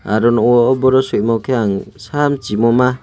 aro nuko boro swimo khe ang sam chimoma.